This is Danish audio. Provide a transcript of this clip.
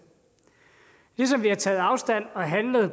ligesom vi har taget afstand og har handlet i